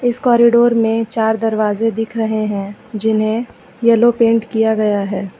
इस कॉरिडोर में चार दरवाजे दिख रहे हैं जिन्हें येलो पेंट किया गया है।